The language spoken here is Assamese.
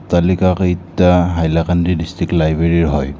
অট্টালিকাকেইটা হাইলাকান্দি ডিষ্ট্ৰিক লাইব্ৰেৰীৰ হয়।